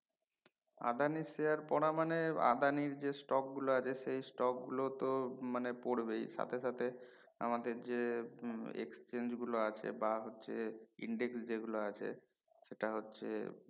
আদানির share পরা মানে আদানির যে stock গুলো আছে সেই stock গুলো তো মানে পরবেই সাথে সাথে আমাদের যে উম exchange গুলো আছে বা হচ্ছে index যে গুলো আছে সেট হচ্ছে